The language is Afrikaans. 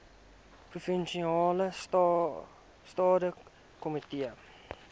provinsiale staande komitee